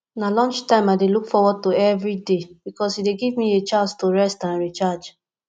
na lunchtime i dey look forward to every day because e dey give me a chance to rest and recharge